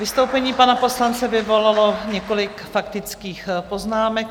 Vystoupení pana poslance vyvolalo několik faktických poznámek.